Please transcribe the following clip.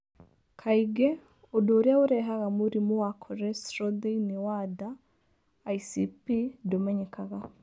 Kaingĩ, ũndũ ũrĩa ũrehaga mũrimũ wa cholesterol thĩinĩ wa nda (ICP) ndũmenyekaga.